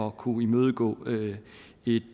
at kunne imødegå et